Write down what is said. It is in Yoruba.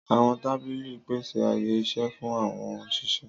Àwọn tábìlì ń pèsè ààyè-iṣẹ́ fún àwọn òṣìṣẹ́.